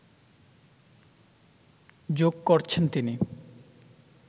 জোঁক করছেন তিনি